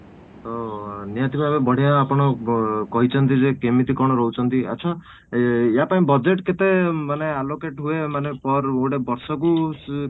ତ ନିହାତି ଭାବେ ବଢିଆ ଆପଣ ବ କହିଛନ୍ତି ଯେ କେମିତି କ'ଣ ରହୁଛନ୍ତି ଆଚ୍ଛା ଏଁ ୟା ପାଇଁ budget କେତେ ମାନେ allocate ହୁଏ ମାନେ per ଗୋଟେ ବର୍ଷ କୁ